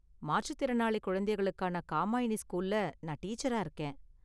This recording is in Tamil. மாற்றுத்திறனாளி குழந்தைகளுக்கான காமாயினி ஸ்கூல்ல நான் டீச்சரா இருக்கேன்.